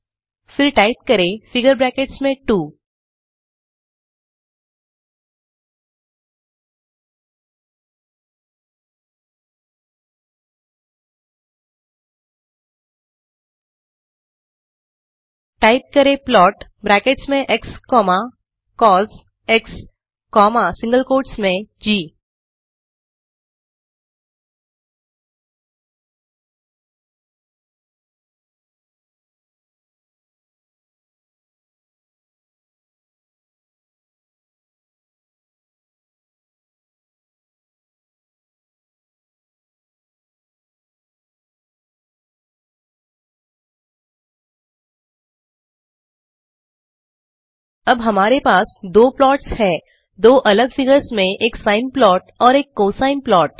फिर टाइप करें figure brackets में 2 टाइप करें प्लाट ब्रैकेट्स में x comma cos comma single quotes में जी अब हमारे पास दो प्लॉट्स है दो अलग फिगर्स में एक साइन प्लाट और एक कोसाइन प्लाट